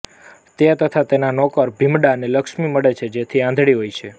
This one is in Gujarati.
તે તથા તેના નોકર ભીમડાને લક્ષ્મી મળે છે જે આંધળી હોય છે